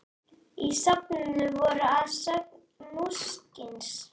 Í safninu voru að sögn munksins